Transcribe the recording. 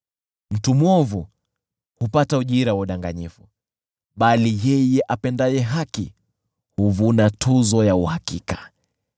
Mtu mwovu hupata ujira wa udanganyifu, bali yeye apandaye haki huvuna tuzo ya uhakika.